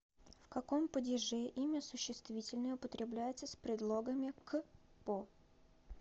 в каком падеже имя существительное употребляется с предлогами к по